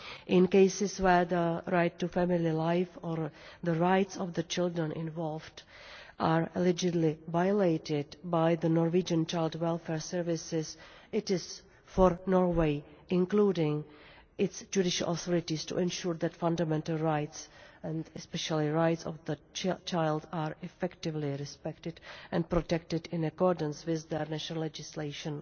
In cases where the right to family life or the rights of the children involved are allegedly violated by the Norwegian child welfare services, it is for Norway including its judicial authorities to ensure that fundamental rights and especially the rights of the child are effectively respected and protected in accordance with their national legislation.